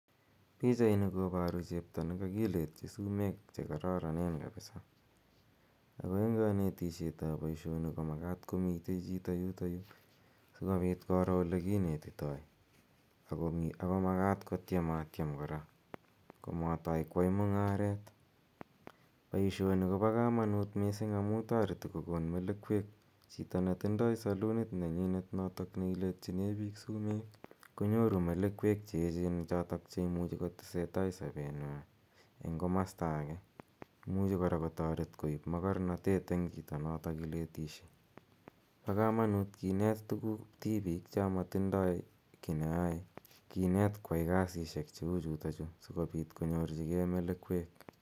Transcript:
Pichaini koparu chepto ne kakjletchi sumek che kararanen kapisa, ako eng' kanetishetap poishoni ko makat ko mitei chito yutayu koro ole kinetitai. Ako makat kotiem a tiem kora komatai koai mung'aret. Poishoni ko pa kamanut missing' amu tareti kokon melekwek. Chito ne tindai salunit ne nyinet notok ne iletchine piik sumet konyoru melekwek che echen chotok che imuchi kotese tai sapennwa eng' komasta age. Imuchi kora kotaret koip makarnatet eng' chito notok iletishe. Pa kamanut kinet tuguk tipik cha matindai ki ne yae, kinet koyai kasishek che u chutachu asikopit konyorchigei melekwek.